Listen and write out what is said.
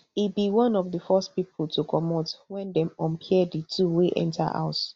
e be one of di first pipo to comot wen dem unpair di two wey enta house